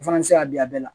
O fana bɛ se ka bin a bɛɛ la